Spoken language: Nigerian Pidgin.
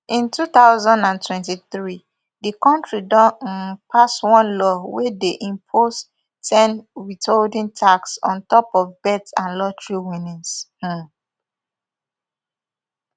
in two thousand and twenty-three di kontri don um pass one law wey dey impose ten withholding tax on top of bet and lottery winnings um